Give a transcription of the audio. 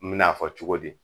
N mena fɔ cogo di?